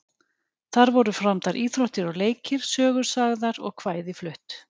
Þar voru framdar íþróttir og leikir, sögur sagðar og kvæði flutt.